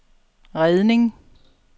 redning